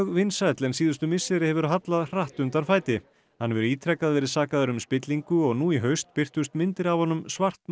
vinsæll en síðustu misseri hefur hallað hratt undan fæti hann hefur ítrekað verið sakaður um spillingu og nú í haust birtust myndir af honum